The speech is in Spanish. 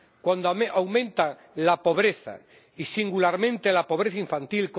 cuando aumenta la pobreza, y singularmente la pobreza infantil